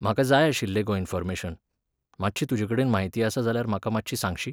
म्हाका जाय आशिल्लें गो इनफॉर्मेशन. मात्शी तुजे कडेन माहिती आसा जाल्या म्हाका मात्शी सांगशी?